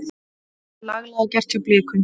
Laglega gert hjá Blikum.